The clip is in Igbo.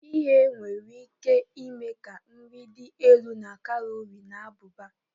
Ighe nwere ike ime ka nri dị elu na kalori na abụba